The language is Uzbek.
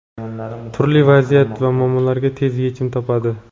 turli vaziyat va muammolarga tez yechim topadi.